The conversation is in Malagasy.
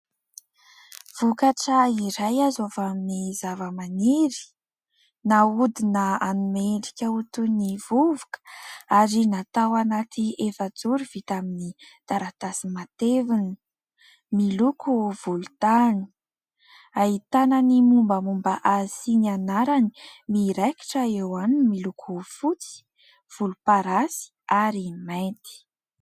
Vokatra iray azo avy amin'ny zava-maniry nahodina hanome endrika ho toy ny vovoka ary natao anaty efajoro avy amin'ny taratasy mateviny miloko volontany ahitana ny momba momba azy sy ny anarany miraikitra eo aminy miloko fotsy, volomparasy ary mainty.